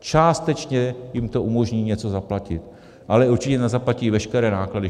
Částečně jim to umožní něco zaplatit, ale určitě nezaplatí veškeré náklady.